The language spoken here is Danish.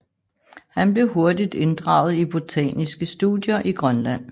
Han blev hurtigt inddraget i botaniske studier i Grønland